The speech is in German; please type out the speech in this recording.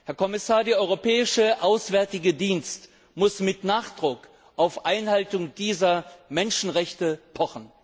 Herr Kommissar, der Europäische Auswärtige Dienst muss mit Nachdruck auf die Einhaltung dieser Menschenrechte pochen!